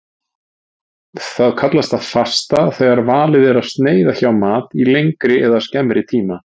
Það kallast fasta þegar valið er að sneiða hjá mat í lengri eða skemmri tíma.